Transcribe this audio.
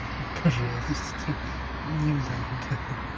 пожалуйста не надо хи-хи